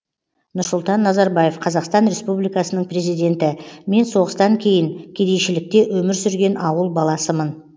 нұрсұлтан назарбаев қазақстан республикасының президенті мен соғыстан кейін кедейшілікте өмір сүрген ауыл баласымын